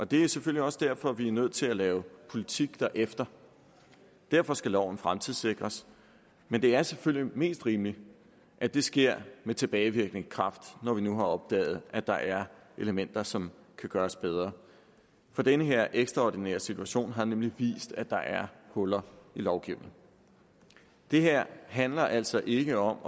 det er selvfølgelig også derfor vi er nødt til at lave politik derefter og derfor skal loven fremtidssikres men det er selvfølgelig mest rimeligt at det sker med tilbagevirkende kraft når vi nu har opdaget at der er elementer som kan gøres bedre for den her ekstraordinære situation har nemlig vist at der er huller i lovgivningen det her handler altså ikke om